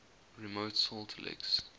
remote salt licks